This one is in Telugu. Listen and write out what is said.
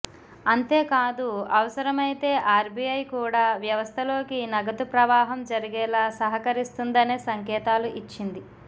అంతేకాదు అవసరమైతే ఆర్బీఐ కూడా వ్యవస్థలోకి నగదు ప్రవాహం జరిగేలా సహకరిస్తుందనే సంకేతాలు ఇచ్చింది